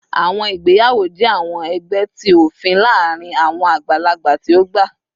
Awọn igbeyawo jẹ awọn ẹgbẹ ti ofin laarin awọn agbalagba ti o gba